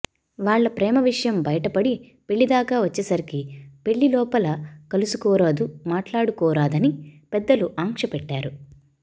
వాళ్ళ ప్రేమ విషయం బయటపడి పెళ్ళి దాకా వచ్చేసరికి పెళ్ళి లోపల కలుసుకోరాదు మాట్లాడుకోరాదని పెద్దలు ఆంక్ష పెట్టారు